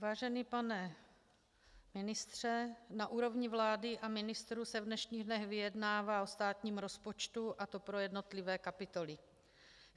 Vážený pane ministře, na úrovni vlády a ministrů se v dnešních dnech vyjednává o státním rozpočtu, a to pro jednotlivé kapitoly.